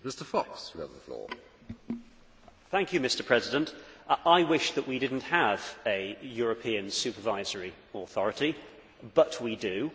Mr President, I wish that we did not have a European Supervisory Authority, but we do.